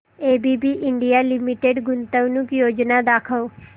ABB India limited गुंतवणूक योजना दाखव